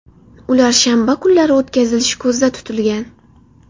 Ular shanba kunlari o‘tkazilishi ko‘zda tutilgan.